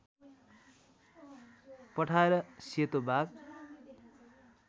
पठाएर सेतो बाघ